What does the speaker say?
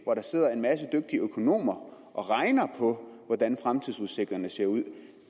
hvor der sidder en masse dygtige økonomer og regner på hvordan fremtidsudsigterne ser ud